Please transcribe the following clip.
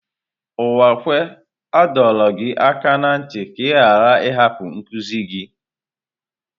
Uwakwe a dọrọ gị aka na ntị ka ị ghara ịhapụ nkuzi gị!